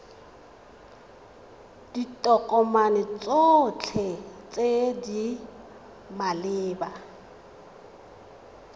ditokomane tsotlhe tse di maleba